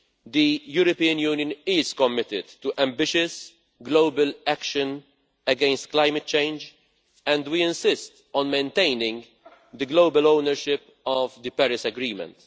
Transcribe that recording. The European Union is committed to ambitious global action against climate change and we insist on maintaining global ownership of the Paris Agreement.